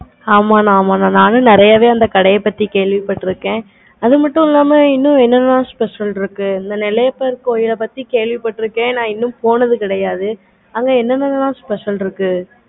ஆமா mam ஆமா mam நெறையாவே அந்த கடைய பத்தி கேள்வி பட்டு இருக்கேன். அது மட்டும் இல்லாம இன்னும் என்ன என்ன special இருக்கு அந்த நெல்லையப்பர் கோவில் கேள்வி பட்டு இருக்கேன். இன்னும் போனது இல்லை. அங்க என்ன எண்ணலாம் special இருக்கு.